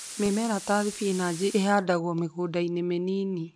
Mĩmera ta spinach ĩhandwo mĩgũnda-inĩ mĩnini.